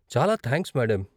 చాలా thanks, madam.